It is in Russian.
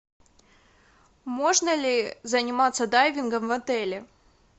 можно ли заниматься дайвингом в отеле